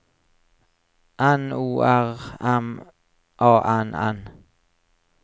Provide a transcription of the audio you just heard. N O R M A N N